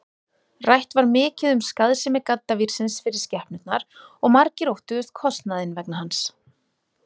Rætt var mikið um skaðsemi gaddavírsins fyrir skepnurnar og margir óttuðust kostnaðinn vegna hans.